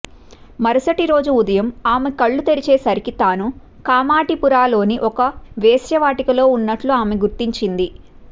మరుసటి రోజు ఉదయం ఆమె కళ్లు తెరిచేసరికి తాను కామాటిపురాలోని ఒక వేశ్యావాటికలో ఉన్నట్లు ఆమె గుర్తించింది